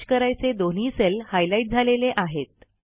merge करायचे दोन्ही cell highlight झालेले आहेत